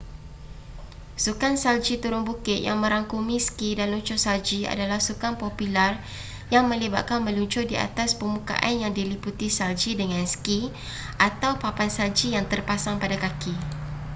sukan salji turun bukit yang merangkumi ski dan luncur salji adalah sukan popular yang melibatkan meluncur di atas permukaan yang diliputi salji dengan ski atau papan salji yang terpasang pada kaki